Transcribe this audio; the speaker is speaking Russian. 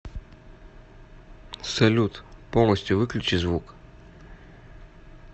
салют полностью выключи звук